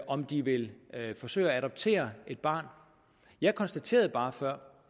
om de vil forsøge at adoptere et barn jeg konstaterede bare før